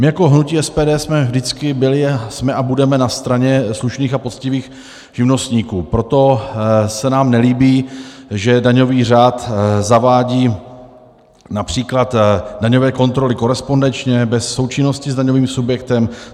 My jako hnutí SPD jsme vždycky byli, jsme a budeme na straně slušných a poctivých živnostníků, proto se nám nelíbí, že daňový řád zavádí například daňové kontroly korespondenčně, bez součinnosti s daňovým subjektem.